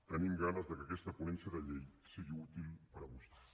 tenim ganes que aquesta ponència de llei sigui útil per a vostès